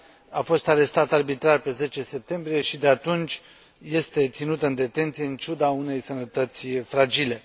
A fost arestată arbitrar pe 10 septembrie și de atunci este ținută în detenție, în ciuda unei sănătăți fragile.